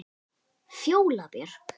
Fjóla Björk.